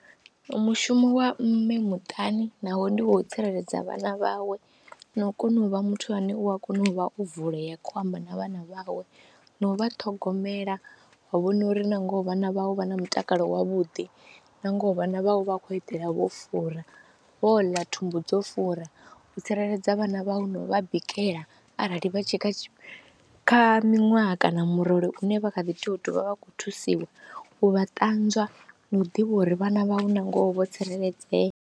Mushumo wa mme muṱani naho ndi u tsireledza vhana vhawe na u kona u vha muthu ane u a kona u vha o vulea khou amba na vhana vhawe na u vha ṱhogomela wa vhona uri na ngoho vhana vhawe vha na mutakalo wavhuḓi na ngoho vhana vhawe vha a khou eḓela vho fura. Vho ḽa thumbu dzo fura u tsireledza vhana vhau no vha bikela arali vha tshi kha kha miṅwaha kana murole une vha kha ḓi tou u vha vha khou thusiwa u vha ṱanzwa na u ḓivha uri vhana vha u na ngoho vho tsireledzea.